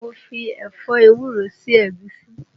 Mo fi ẹ̀fọ́ ewúro sí ẹ̀gúsí